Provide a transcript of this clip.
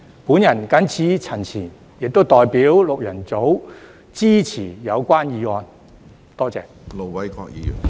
我謹此陳辭，亦代表六人組支持議案。